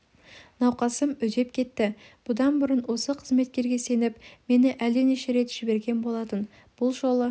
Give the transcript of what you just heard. науқасым үдеп кетті бұдан бұрын ол қызметкерге сеніп мені әлденеше рет жіберген болатын бұл жолы